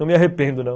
Não me arrependo, não.